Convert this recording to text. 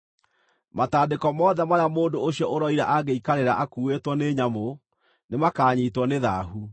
“ ‘Matandĩko mothe marĩa mũndũ ũcio ũroira angĩikarĩra akuuĩtwo nĩ nyamũ, nĩmakanyiitwo nĩ thaahu,